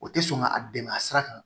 O tɛ sɔn ka a dɛmɛ a sira kan